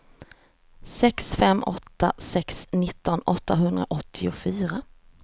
sex fem åtta sex nitton åttahundraåttiofyra